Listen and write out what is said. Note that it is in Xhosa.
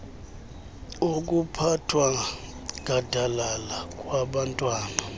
okuphathwa gadalala kwabantwana